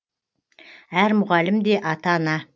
әр мұғалім де ата ана